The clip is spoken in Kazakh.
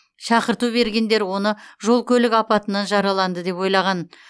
шақырту бергендер оны жол көлік апатынан жараланды деп ойлаған